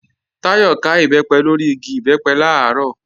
Táyọ̀ ká Ìbẹ́pẹ lórí igi Ìbẹ́pẹ làárọ̀